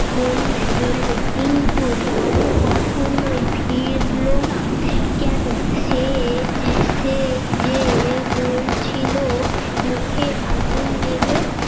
মনি বললে কিন্তু লালু কখনোই ফিরলো না কেন সে যে সে যে বলছিল মুখের আগুন দেবে